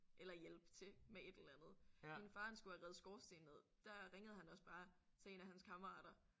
Eller hjælpe til med et eller andet. Min far han skulle have revet skorsten ned. Der ringede han også bare til en af hans kammerater